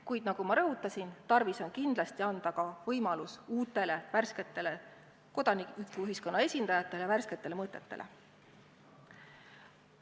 Kuid nagu ma rõhutasin, tarvis on kindlasti anda ka võimalus uutele, värsketele kodanikuühiskonna esindajatele, värsketele mõtetele.